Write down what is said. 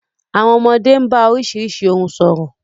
Àwọn ọmọdé ń bá oríṣiríṣi ohùn sọ̀rọ̀.